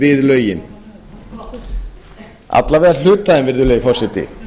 við lögin alla vega hluti af þeim virðulegi forseti